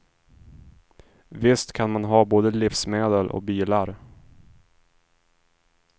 Visst kan man ha både livsmedel och bilar.